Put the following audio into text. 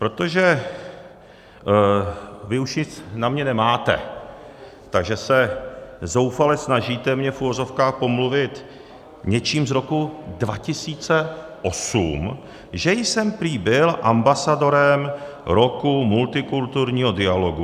Protože vy už nic na mě nemáte, tak se zoufale snažíte mě v uvozovkách pomluvit něčím z roku 2008, že jsem prý byl ambasadorem roku multikulturního dialogu.